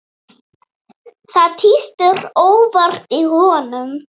Það tístir óvart í honum.